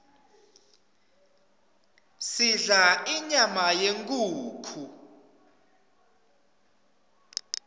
sidla inyama yenkhukhu